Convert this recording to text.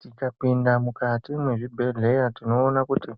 Tikapinda mukati mwezvibhedhlera tinoone kuti